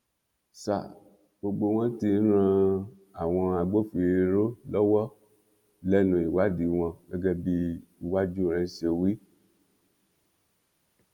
sa gbogbo wọn tí ń ran àwọn agbófinró lọwọ lẹnu ìwádìí wọn gẹgẹ bí uwájúrẹn ṣe wí